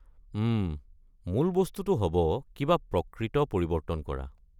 উম, মূল বস্তুটো হ'ব কিবা প্ৰকৃত পৰিৱৰ্তন কৰা।